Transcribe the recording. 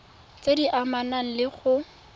tse di amanang le go